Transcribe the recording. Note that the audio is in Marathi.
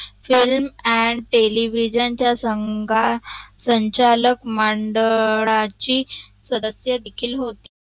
Film and Television च्या संगा संचालक मंडळाची सदक्ष देखील होती